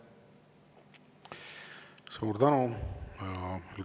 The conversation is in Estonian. Suur tänu!